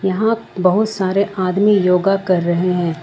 यहां बहुत सारे आदमी योगा कर रहे हैं।